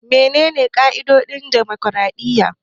Menene ƙa'idodin dimokraɗiyya?